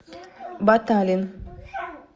баталин